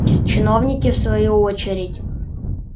чиновники в свою очередь